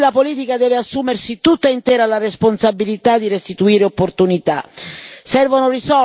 È questo il tempo in cui la politica deve assumersi tutta intera la responsabilità di restituire opportunità.